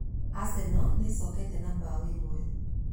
Arsenal noĩcoke na mbaũ ĩmwe